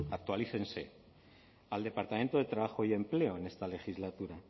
actualícense al departamento de trabajo y empleo en esta legislatura